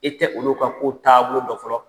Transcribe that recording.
E tɛ olu ka kow taabolo dɔ fɔlɔ